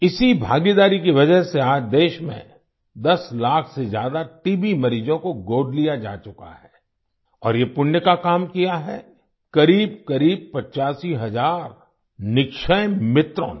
इसी भागीदारी की वजह से आज देश में 10 लाख से ज्यादा टीबी मरीजों को गोद लिया जा चुका है और ये पुण्य का काम किया है क़रीबक़रीब 85 हजार निक्षय मित्रों ने